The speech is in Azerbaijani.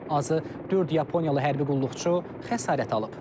Azı dörd yaponiyalı hərbi qulluqçu xəsarət alıb.